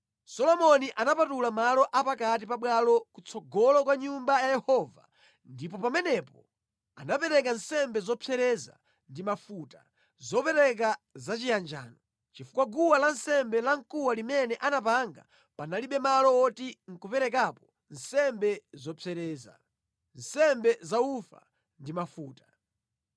Solomoni anapatula malo a pakati pa bwalo kutsogolo kwa Nyumba ya Yehova ndipo pamenepo anapereka nsembe zopsereza ndi mafuta, zopereka za chiyanjano, chifukwa guwa lansembe lamkuwa limene anapanga panalibe malo woti nʼkuperekerapo nsembe zopsereza, nsembe za ufa ndi mafuta.